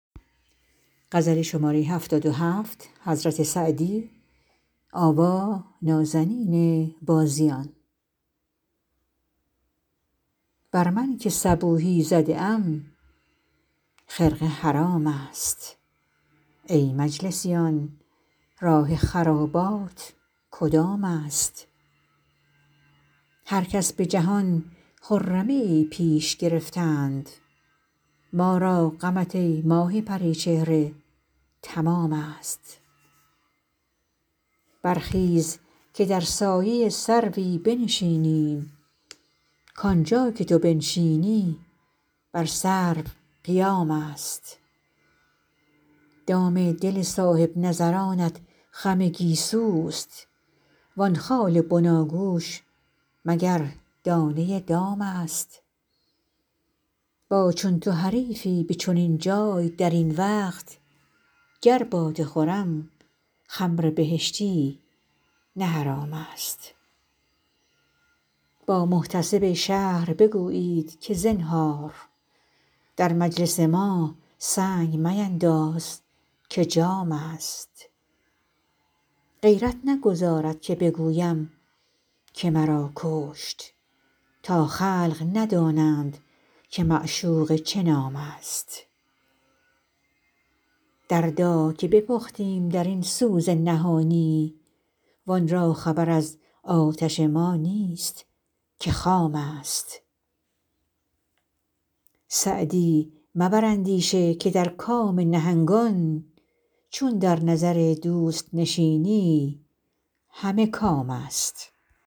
بر من که صبوحی زده ام خرقه حرام است ای مجلسیان راه خرابات کدام است هر کس به جهان خرمیی پیش گرفتند ما را غمت ای ماه پری چهره تمام است برخیز که در سایه سروی بنشینیم کانجا که تو بنشینی بر سرو قیام است دام دل صاحب نظرانت خم گیسوست وان خال بناگوش مگر دانه دام است با چون تو حریفی به چنین جای در این وقت گر باده خورم خمر بهشتی نه حرام است با محتسب شهر بگویید که زنهار در مجلس ما سنگ مینداز که جام است غیرت نگذارد که بگویم که مرا کشت تا خلق ندانند که معشوقه چه نام است دردا که بپختیم در این سوز نهانی وان را خبر از آتش ما نیست که خام است سعدی مبر اندیشه که در کام نهنگان چون در نظر دوست نشینی همه کام است